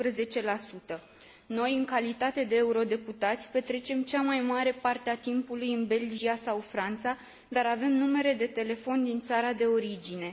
12. Noi, în calitate de eurodeputați, petrecem cea mai mare parte a timpului în Belgia sau Franța, dar avem numere de telefon din țara de origine.